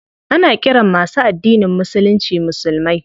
Ana ƙiran masu addinin musulunci musulmai.